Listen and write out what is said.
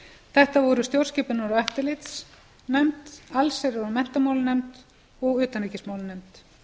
þetta voru stjórnskipunar og eftirlitsnefnd allsherjar og menntamálanefnd og utanríkismálanefnd